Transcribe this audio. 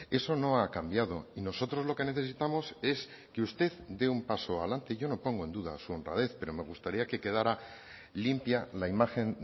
eso no ha cambiado y nosotros lo que necesitamos es que usted de un paso adelante yo no pongo en duda su honradez pero me gustaría que quedara limpia la imagen